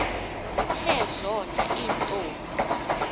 zithe zona iintombi